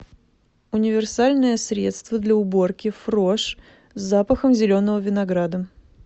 универсальное средство для уборки фрош с запахом зеленого винограда